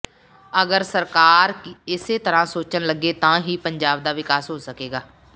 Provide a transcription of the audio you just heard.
ਅਗਰ ਸਰਕਾਰ ਇਸੇ ਤਰ੍ਹਾਂ ਸੋਚਣ ਲੱਗੇ ਤਾਂ ਹੀ ਪੰਜਾਬ ਦਾ ਵਿਕਾਸ ਹੋ ਸਕੇਗਾ